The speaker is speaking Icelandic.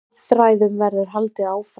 Viðræðum verður haldið áfram.